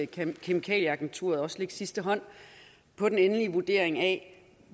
kemikalieagenturet også lægge sidste hånd på den endelige vurdering af